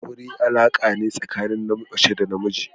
Aure alaƙa ne tsakanin mace da na namiji.